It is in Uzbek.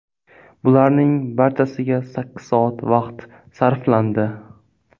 Bularning barchasiga sakkiz soat vaqt sarflandi.